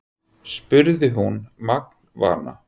spurði hún magnvana.